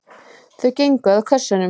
Þau gengu að kössunum.